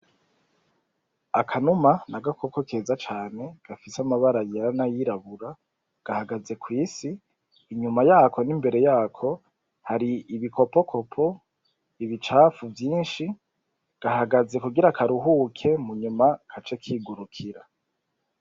akanuma nagakoko keza cane gafise amabara yera n'ayirabura gahagaze kw'isi inyuma yako n'imbere yako hari ibikokoko ibicafu vyinshi gahagaze kugira karuhuke munyuma kace kigurukira